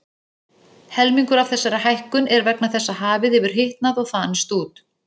Helmingur af þessari hækkun er vegna þess að hafið hefur hitnað og þanist út.